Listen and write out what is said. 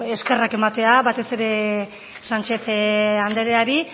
eskerrak ematea batez ere sánchez andreari